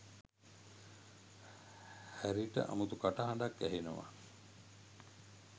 හැරිට අමුතු කටහඬක් ඇහෙනවා